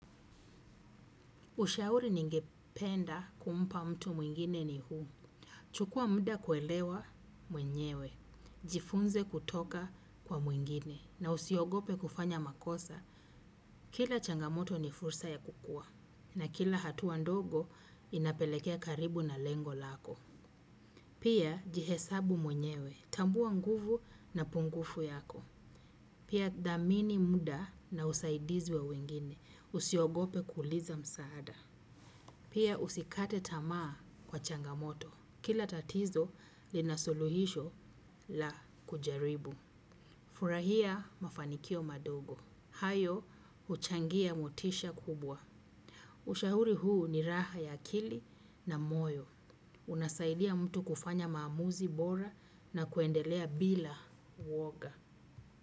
Ushauri ningependa kumpa mtu mwingine ni huu. Chukua muda kuelewa mwenyewe, jifunze kutoka kwa mwingine, na usiogope kufanya makosa. Kila changamoto ni fursa ya kukua, na kila hatua ndogo inapelekea karibu na lengo lako. Pia jihesabu mwenyewe, tambua nguvu na pungufu yako. Pia dhamini muda na usaidizi wa wengine usiogope kuuliza msaada. Pia usikate tamaa kwa changamoto. Kila tatizo linasuluhisho la kujaribu. Furahia mafanikio madogo. Hayo uchangia motisha kubwa. Ushahuri huu ni raha ya akili na moyo. Unasaidia mtu kufanya maamuzi bora na kuendelea bila uwoga.